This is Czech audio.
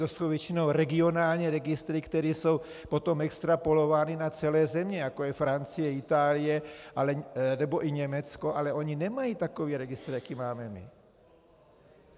To jsou většinou regionální registry, které jsou potom extrapolovány na celé země, jako je Francie, Itálie nebo i Německo, ale oni nemají takový registr, jaký máme my.